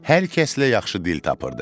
Hər kəslə yaxşı dil tapırdı.